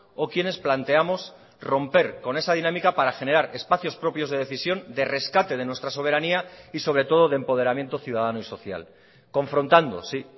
o quienes planteamos romper con esa dinámica para generar espacios propios de decisión de rescate de nuestra soberanía y sobre todo de empoderamiento ciudadano y social confrontando sí